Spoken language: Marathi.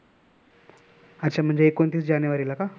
अच्छा, म्हणजे एकोणतीस जानेवारीला का?